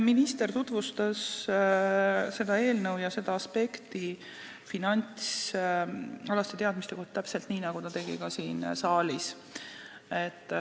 Minister tutvustas seda eelnõu ja seda finantsalaste teadmiste aspekti täpselt nii, nagu ta tegi ka siin saalis.